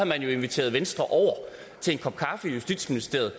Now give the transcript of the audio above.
man jo inviteret venstre over til en kop kaffe i justitsministeriet